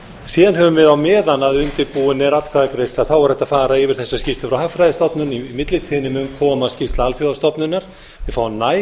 síðan höfum við á meðan undirbúin er atkvæðagreiðsla þá er hægt að fara yfir þessa skýrslu frá hagfræðistofnun í millitíðinni mun koma skýrsla alþjóðastofnunar við fáum